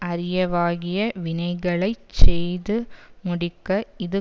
அரியவாகிய வினைகளை செய்து முடிக்க இது